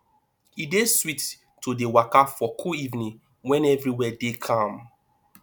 e dey sweet to dey waka for cool evening wen everywhere dey calm